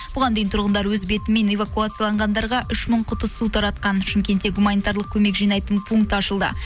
бұған дейін тұрғындар өз бетімен эвакуацияланғандарға үш мың құты су таратқан шымкентте гуманитарлық көмек жинайтын пункт ашылды